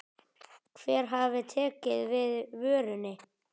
Hver hafi tekið við vörunni?